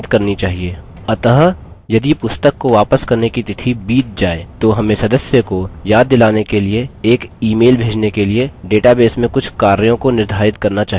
अतः यदि पुस्तक को वापस करने की तिथि बीत जाये तो हमें सदस्य को याद दिलाने के लिए एक ईemail भेजने के लिए database में कुछ कार्यों को निर्धारित करना चाहिये